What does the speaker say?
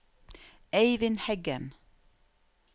Eyvind Heggen